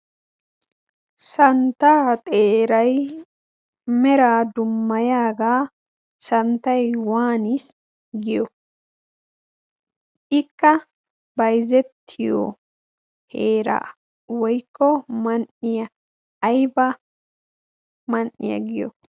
samntaa xeeray meraa dumayaaga waaniis giyo? ikka maliyaga giyo?